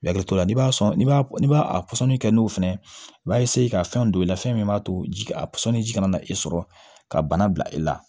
Hakili to la n'i b'a sɔn ni b'a n'i b'a pɔsɔni kɛ n'o fɛnɛ i b'a ka fɛn don i la fɛn min b'a to ji a sɔn ni ji kana e sɔrɔ ka bana bila i la